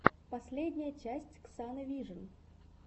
последняя часть ксаны вижн